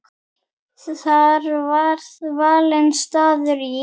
Var því valinn staður í